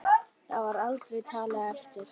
Það var aldrei talið eftir.